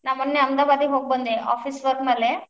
ನಾ ಮೊನ್ನೆ ಅಹಮದಾಬಾದಿಗೆ ಹೋಗಿ ಬಂದೆ office work ಮ್ಯಾಲೆ.